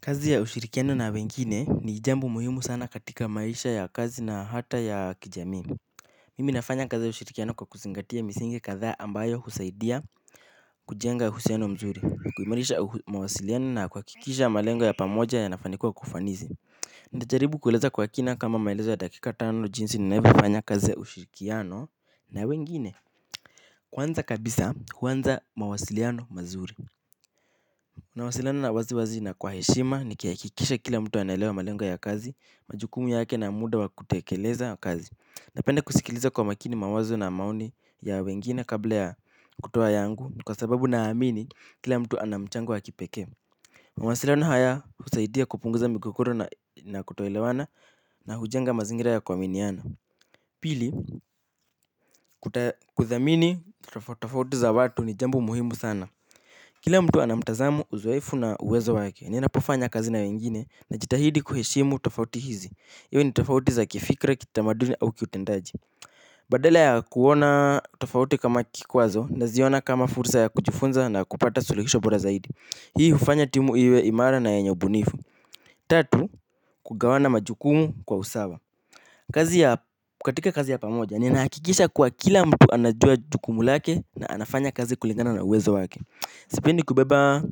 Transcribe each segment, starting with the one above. Kazi ya ushirikiano na wengine ni jambo muhimu sana katika maisha ya kazi na hata ya kijamii. Mimi nafanya kazi ya ushirikiano kwa kuzingatia misingi kadhaa ambayo husaidia kujenga uhusiano mzuri kuimarisha mawasiliano na kuhakikisha malengo ya pamoja yanafanikiwa kwa ufanisi. Nitajaribu kueleza kwa kina kama maelezo ya dakika tano jinsi ninavyo fanya kazi ya ushirikiano na wengine. Kwanza kabisa huanza mawasiliano mazuri nawasiliana wazi wazi na kwa heshima niki hakikisha kila mtu anaelewa malengo ya kazi, majukumu yake na muda wa kutekeleza kazi. Napenda kusikiliza kwa makini mawazo na maoni ya wengine kabla ya kutoa yangu ni kwa sababu naamini kila mtu ana mchango wa kipekee mawasiliano haya husaidia kupunguza migogoro na kutoelewana na hujenga mazingira ya kuaminiana. Pili, kudhamini tofauti tofauti za watu ni jambo muhimu sana. Kila mtu ana mtazamo uzoefu na uwezo wake, ninapofanya kazi na wengine najitahidi kuheshimu tofauti hizi. Iwe ni tofauti za kifikra, kitamaduni au kiutendaji. Badala ya kuona tofauti kama kikwazo naziona kama fursa ya kujifunza na kupata suluhisho bora zaidi hii hufanya timu iwe imara na yenye ubunifu. Tatu kugawana majukumu kwa usawa. Kazi ya katika kazi ya pamoja, ninahakikisha kuwa kila mtu anajua jukumu lake na anafanya kazi kulingana na uwezo wake. Sipendi kubeba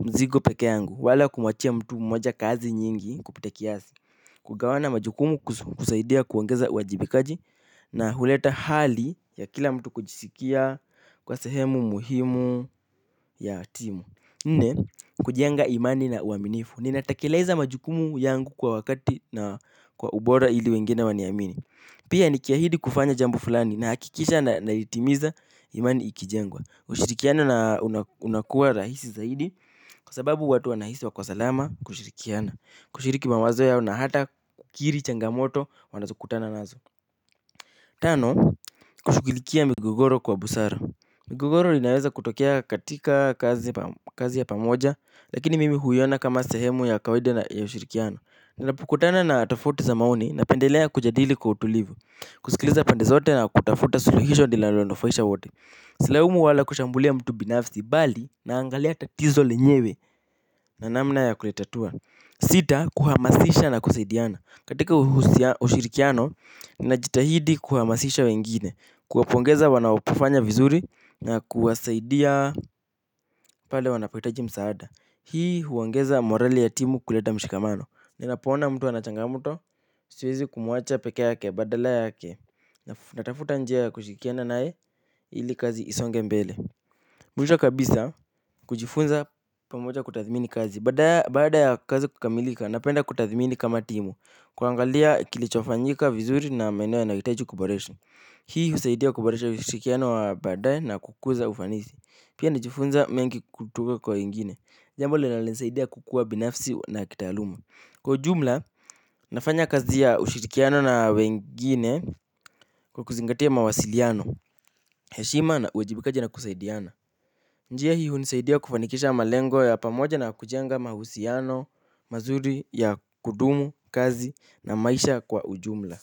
mzigo peke yangu, wala kumuachia mtu mmoja kazi nyingi kupita kiasi. Kugawana majukumu husaidia kuongeza uajibikaji na huleta hali ya kila mtu kujisikia kuwa sehemu muhimu ya timu nne, kujenga imani na uaminifu, ninatekeleza majukumu yangu kwa wakati na kwa ubora ili wengine waniamini. Pia niki ahidi kufanya jambo fulani nahakikisha na ilitimiza imani ikijengwa ushirikiano na unakuwa rahisi zaidi kwa sababu watu wanahisi wako salama kushirikiana. Kushiriki mawazo yao na hata kukiri changamoto wanazo kutana nazo. Tano, kushughulikia migogoro kwa busara. Migogoro inaweza kutokea katika kazi ya pamoja lakini mimi huiona kama sehemu ya kawaida ya ushirikiano. Ninapokutana na tofauti za maoni napendelea kujadili kwa utulivu. Kusikiliza pande zote na kutafuta suluhisho linalo nufaisha wote. Silaumu wala kushambulia mtu binafsi bali naangalia tatizo lenyewe na namna ya kulitatua. Sita, kuhamasisha na kusaidiana katika ushirikiano, ninajitahidi kuhamasisha wengine. Kuwapongeza wanapofanya vizuri na kuwasaidia pale wanapohitaji msaada. Hii huongeza morali ya timu kuleta mshikamano. Ninapo ona mtu ana changamoto, siwezi kumu acha pekea yake, badala yake natafuta njia ya kushirikiana nae, ili kazi isonge mbele mwisho kabisa kujifunza pamoja kutathmini kazi. Badaa ya kazi kukamilika napenda kutathmini kama timu. Kuangalia kilicho fanyika vizuri na maeneo yanayo hitaji kuboreshwa. Hii husaidia kuboresha ushirikiano wa badae na kukuza ufanisi. Pia najifunza mengi kutoka kwa wengine. Jambo linalonisaidia kukua binafsi na kitaaluma. Kwa ujumla, nafanya kazi ya ushirikiano na wengine kwa kuzingatia mawasiliano. Heshima na uwajibikaji na kusaidiana. Njia hii hunisaidia kufanikisha malengo ya pamoja na kujenga mahusiano, mazuri ya kudumu, kazi na maisha kwa ujumla.